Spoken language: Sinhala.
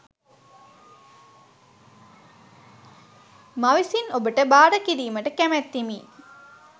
මවිසින් ඔබ ට භාර කිරීමට කැමැත්තෙමි